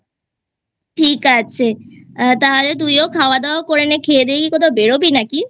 ঠিক আছে তাহলে তুইও খাওয়াদাওয়া করে নে খেয়ে দিয়ে কি কোথাও বেরোবি নাকি?